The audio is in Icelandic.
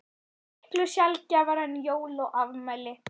Miklu sjaldgæfara en jól og afmæli.